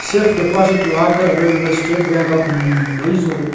Safe deposit locker available by state bank of ம் மைசூரு .